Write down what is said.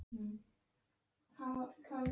Ég á ekki að blanda mér í það.